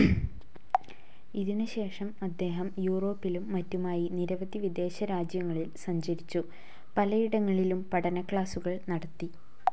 ഇതിനു ശേഷം അദ്ദേഹം യൂറോപ്പിലും മറ്റുമായി നിരവധി വിദേശരാജ്യങ്ങളിൽ സഞ്ചരിച്ചു, പലയിടങ്ങളിലും പഠനക്ലാസ്സുകൾ നടത്തി.